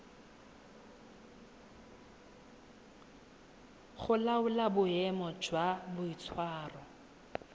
go laola boemo jwa boitshwaro